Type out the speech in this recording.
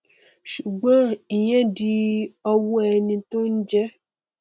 ṣùgọn ìyẹn di ọwọ ẹni tó n jẹun